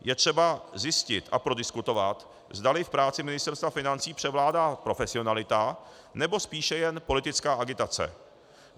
Je třeba zjistit a prodiskutovat, zdali v práci Ministerstva financí převládá profesionalita, nebo spíše jen politická agitace.